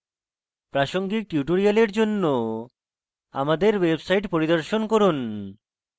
প্রাসঙ্গিক tutorials জন্য আমাদের website পরিদর্শন করুন